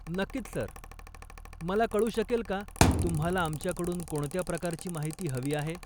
नक्कीच सर, मला कळू शकेल का तुम्हाला आमच्याकडून कोणत्या प्रकारची माहिती हवी आहे?